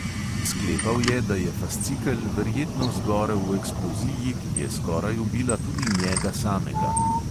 Sklepal je, da je fascikel verjetno zgorel v eksploziji, ki je skoraj ubila tudi njega samega.